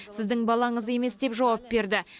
сіздің балаңыз емес деп жауап берді